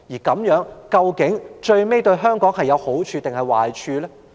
這樣做對香港有好處還是壞處呢？